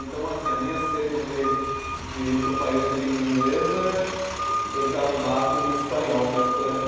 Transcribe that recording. Então, assim a minha sede de de ir para um país de língua inglesa, eu já mato em espanhol mesmo por aqui.